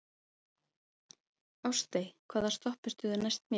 Ástey, hvaða stoppistöð er næst mér?